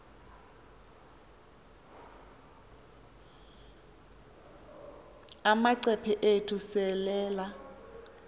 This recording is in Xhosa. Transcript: amacephe ethu selelal